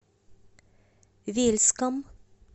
вельском